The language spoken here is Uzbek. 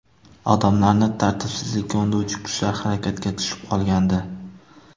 Odamlarni tartibsizlikka undovchi kuchlar harakatga tushib qolgandi.